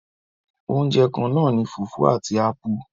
Oúnjẹ kannáà ní fùfú àti ápú.